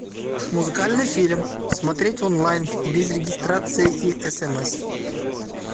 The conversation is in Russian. музыкальный фильм смотреть онлайн без регистрации и смс